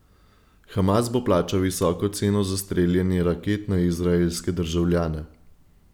Hamas bo plačal visoko ceno za streljanje raket na izraelske državljane.